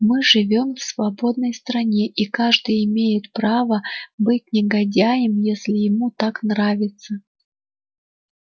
мы живём в свободной стране и каждый имеет право быть негодяем если ему так нравится